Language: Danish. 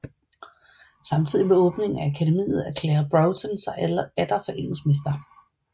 Samtidig med åbningen af akademiet erklærede Broughton sig atter for engelsk mester